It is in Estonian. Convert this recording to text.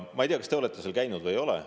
Ma ei tea, kas teie olete seal käinud või ei ole.